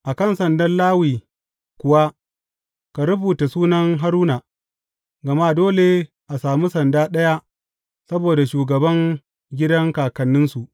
A kan sandan Lawi kuwa ka rubuta sunan Haruna, gama dole a sami sanda ɗaya saboda shugaban gidan kakanninsu.